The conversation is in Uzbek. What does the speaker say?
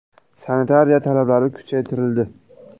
Sanitariya talablari kuchaytirildi.